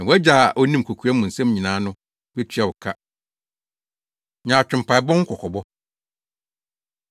na wʼagya a onim kokoa mu nsɛm nyinaa no betua wo ka. Nyaatwom Mpaebɔ Ho Kɔkɔbɔ